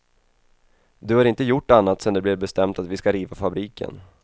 Du har inte gjort annat sen det blev bestämt att vi ska riva fabriken.